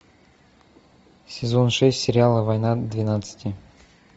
сезон шесть сериала война двенадцати